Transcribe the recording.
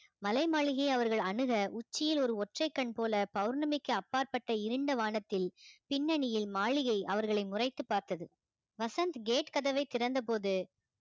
மலை மாளிகை அவர்கள் அணுக உச்சியில் ஒரு ஒற்றைக் கண் போல பௌர்ணமிக்கு அப்பாற்பட்ட இருண்ட வானத்தில் பின்னணியில் மாளிகை அவர்களை முறைத்து பார்த்தது வசந்த் gate கதவை திறந்தபோது